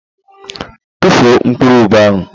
Tufuo mkpụrụ ube ahụ!